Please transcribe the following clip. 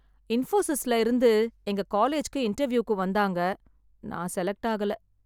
இன்போசிஸ்ல இருந்து எங்க காலேஜுக்கு இன்டர்வியூக்கு வந்தாங்க நான் செலக்ட் ஆகல.